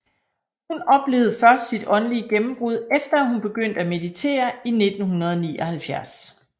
Hun oplevede først sit åndelige gennembrud efter at hun begyndte at meditere i 1979